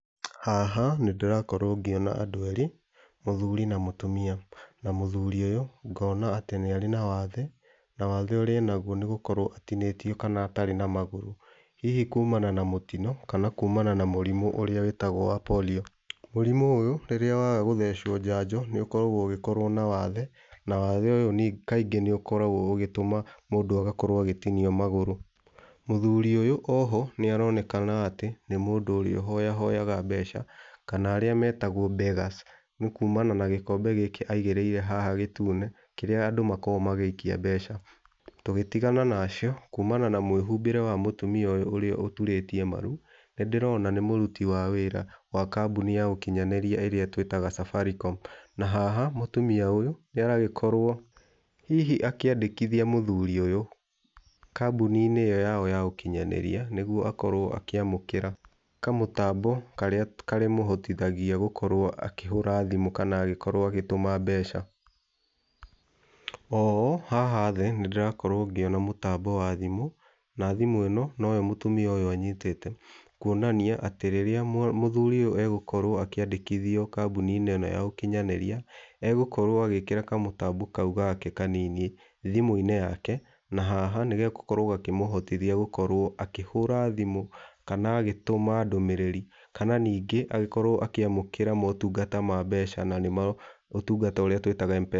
Haha, nĩ ndĩrakorwo ngĩona andũ erĩ , mũthuri na mũtumia. Na mũthuri ũyũ ngona atĩ nĩ arĩ na wathe, na wathe ũrĩa enagwo nĩ wathe nĩ gũkorwo atinĩtio kana atarĩ na magũrũ, hihi kumana na mũtino kana kumana na mũrimũ ũrĩa wĩtagwo wa polio. Mũrimu ũyũ, rĩrĩa waga gũthecwo njanjo nĩ ũkoragwo ũgĩkorwo na wathe na wathe ũyũ kaingĩ nĩ ukoragwo ũgĩtũma mũndũ agakorwo agĩtinio magũrũ. Mũthuri ũyũ oho, nĩ aronekana atĩ nĩ mũndũ ũrĩa ũhoyahoyaga mbeca, kana arĩa metagwo beggars, nĩ kumana na gĩkombe gĩkĩ aigĩrĩire haha gĩtune kĩrĩa andũ makoragwo magĩikia mbeca. Tũgitigana na acio, kumana na mwĩhumbĩre wa mũtumia ũyũ ũrĩa ũturĩtie maru, nĩ ndĩrona nĩ mũruti wa wĩra wa kambuni ya ũkinyanĩria ĩrĩa twĩtaga Safaricom. Na haha mũtumia ũyũ nĩ aragĩkorwo hihi akĩandĩkithia mũthuri ũyũ kambuni-inĩ ĩyo yao ya ũkinyanĩria nĩgwo akorwo akĩamũkĩra kamũtambo karĩa karĩmũhotithagia gũkorwo akĩhũra thimu kana agĩkorwo agĩtũma mbeca. Oho, haha thĩ nĩ ndĩrakorwo ngĩona mũtambo wa thimũ na thimũ ĩno noyo mũtumia ũyũ anyitĩte. Kuonania atĩ rĩrĩa mũthuri ũyũ egũkorwo akĩandĩkithio kambuni-inĩ ĩno ya ũkinyanĩria egũkorwo agĩkĩra kamũtambo kau gake kanini thimũ-inĩ yake, na haha nĩ gegũkorwo gakĩmũhotithia gũkorwo akĩhũra thimũ kana agĩtuma ndũmĩrĩri kana ningĩ agĩkorwo akĩamũkĩra motungata ma mbeca na nĩmo ũtungata ũria twĩtaga M-Pesa.